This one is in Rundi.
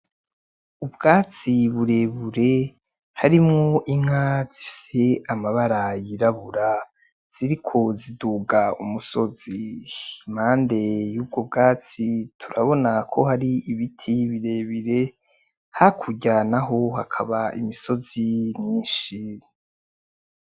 Ubwatsi burebure harimwo inka zifise amabara y’irabura ziriko ziduga umusozi, impande y’ubwo bwatsi turabona ko hari ibiti birebire hakurya naho hakaba imisozi myinshi.